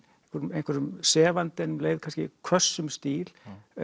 einhverjum sefandi en um leið kannski hvössum stíl